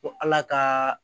Ko ala ka